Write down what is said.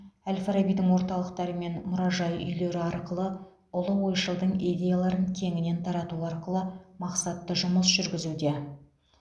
әл фарабидің орталықтары мен мұражай үйлері арқылы ұлы ойшылдың идеяларын кеңінен тарату арқылы мақсатты жұмыс жүргізуде